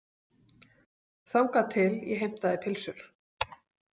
Þangað til ég heimtaði pylsur.